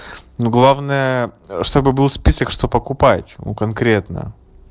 ну главное чтобы был список что покупать у конкретно